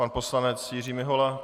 Pan poslanec Jiří Mihola.